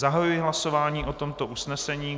Zahajuji hlasování o tomto usnesení.